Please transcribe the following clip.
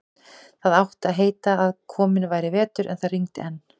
Það átti að heita að kominn væri vetur, en það rigndi enn.